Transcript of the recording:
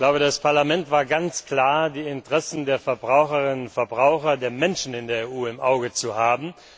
Die Haltung des Parlaments war ganz klar, die Interessen der Verbraucherinnen und Verbraucher, der Menschen in der EU im Auge zu haben.